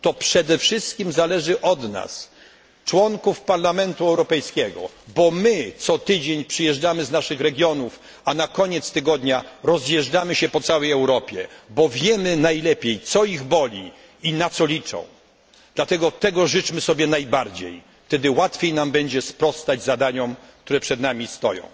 To przede wszystkim zależy od nas, członków Parlamentu Europejskiego, bo my co tydzień przyjeżdżamy z naszych regionów, a na koniec tygodnia rozjeżdżamy się po całej Europie, bo wiemy najlepiej, co ich boli i na co liczą, dlatego tego życzmy sobie najbardziej, wtedy łatwiej będzie nam sprostać zadaniom, które przed nami stoją.